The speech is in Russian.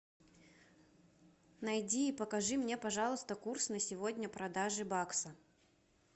найди и покажи мне пожалуйста курс на сегодня продажи бакса